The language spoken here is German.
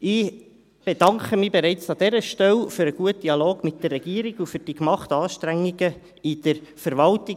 Ich bedanke mich bereits an dieser Stelle für den guten Dialog mit der Regierung und für die gemachten Anstrengungen seitens der Verwaltung.